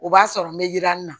O b'a sɔrɔ n bɛ yi yiranni na